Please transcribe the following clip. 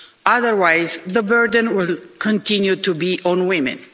Otherwise, the burden will continue to be on women.